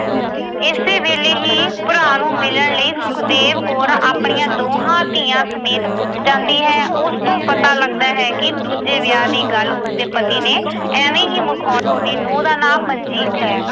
ਇਸੇ ਵੇਲੇ ਹੀ ਭਰਾ ਨੂੰ ਮਿਲਣ ਲਈ ਸੁਖਦੇਵ ਕੌਰ ਆਪਣੀਆਂ ਦੋਹਾਂ ਧੀਆਂ ਸਮੇਤ ਪੁੱਜ ਜਾਂਦੀ ਹੈ। ਉਸ ਤੋਂ ਪਤਾ ਲੱਗਦਾ ਹੈ ਕਿ ਦੂਜੇ ਵਿਆਹ ਦੀ ਗੱਲ ਉਸਦੇ ਪਤੀ ਨੇ ਐਵੇਂ ਹੀ ਮਖੌਲ ਅਹ ਦੀ ਨੂੰਹ ਦਾ ਨਾਂ ਮਨਜੀਤ ਹੈ